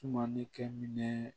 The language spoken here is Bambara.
Sumani kɛ minɛ